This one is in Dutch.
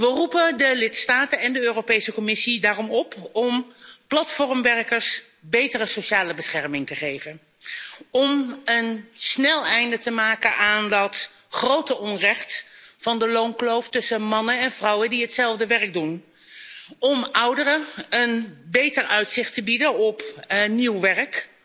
We roepen de lidstaten en de Europese Commissie daarom op om platformwerkers betere sociale bescherming te geven, om snel een einde te maken aan het grote onrecht van de loonkloof tussen mannen en vrouwen die hetzelfde werk doen, om ouderen een beter uitzicht te bieden op nieuw werk,